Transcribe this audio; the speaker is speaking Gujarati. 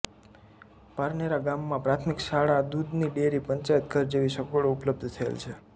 પારનેરા ગામમાં પ્રાથમિક શાળા દૂધની ડેરી પંચાયતઘર જેવી સગવડો ઉપલબ્ધ થયેલ છે